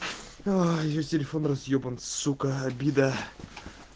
ай её телефон разъебан сука обида